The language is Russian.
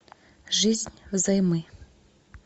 жизнь взаймы